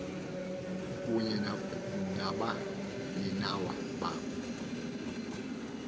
kunye nabaninawa ba